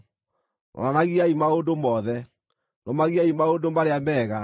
Roranagiai maũndũ mothe. Rũmagiai maũndũ marĩa mega.